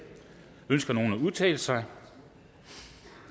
ønsker nogen at udtale sig